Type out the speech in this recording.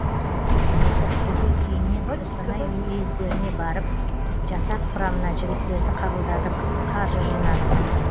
біз ақтөбе кейіннен қостанай уездеріне барып жасақ құрамына жігіттерді қабылдадық қаржы жинадық